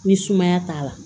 Ni sumaya t'a la